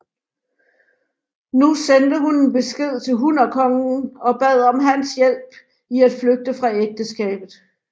Nu sendte hun en besked til hunnerkongen og bad om hans hjælp i at flygte fra ægteskabet